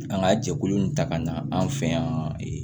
An ka jɛkulu in ta ka na an fɛ yan